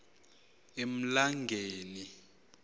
emlangeni